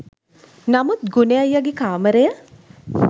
නමුත් ගුණෙ අයියගෙ කාමරය